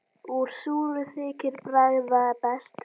Úr súru þykir bragða best.